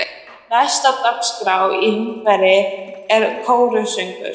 Næst á dagskrá í Húnaveri er kórsöngur.